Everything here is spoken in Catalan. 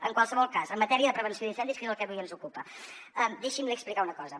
en qualsevol cas en matèria de prevenció d’incendis que és el que avui ens ocupa deixi’m li explicar una cosa